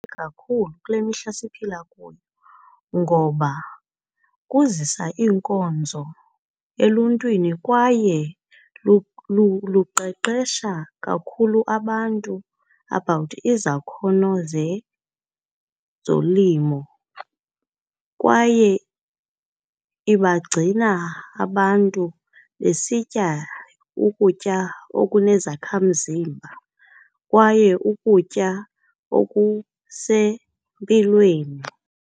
Kakhulu kule mihla siphila kuyo ngoba kuzisa iinkonzo eluntwini kwaye luqeqesha kakhulu abantu about izakhono zezolimo kwaye ibagcina abantu besitya ukutya okunezakhamzimba kwaye ukutya okusempilweni.